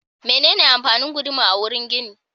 Menene amfanin guduma a wurin gini?